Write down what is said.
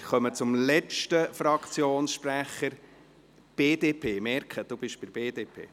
Wir kommen zum letzten Fraktionssprecher für die BDP.